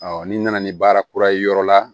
n'i nana ni baara kura ye yɔrɔ la